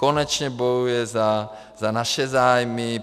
Konečně bojuje za naše zájmy.